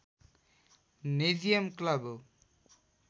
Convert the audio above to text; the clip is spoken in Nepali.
नेजियम क्लब हो